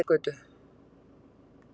Digranesgötu